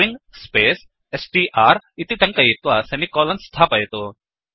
string space str इति टङ्कयित्वा semicolon स्थापयतु